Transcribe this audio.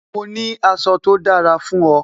Mo ní aṣọ tó dára fún o